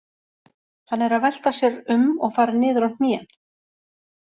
Hann er að velta sér um og fara niður á hnén.